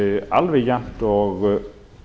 alveg jafnt og